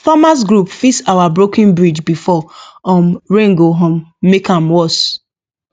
farmers group fix our broken bridge before um rain go um make am worse